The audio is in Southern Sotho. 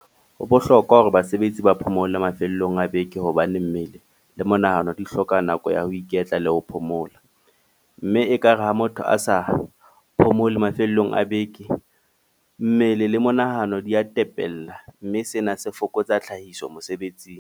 Ho bohlokwa hore basebetsi ba phomole mafelong a beke hobane mmele, le monahano di hloka nako ya ho iketla le ho phomola. Mme ekare ha motho a sa phomole mafelong a beke. Mmele le monahano di a tepella. Mme sena se fokotsa tlhahiso mosebetsing.